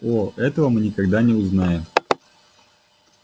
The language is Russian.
о этого мы никогда не узнаем